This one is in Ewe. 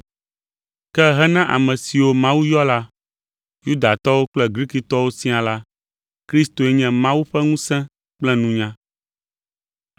ke hena ame siwo Mawu yɔ la, Yudatɔwo kple Grikitɔwo siaa la, Kristoe nye Mawu ƒe ŋusẽ kple nunya.